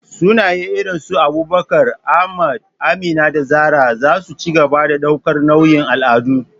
Sunaye irin su Abubakar, Ahmad, Amina, da Zarah za su ci gaba da ɗaukar nauyin al'adu.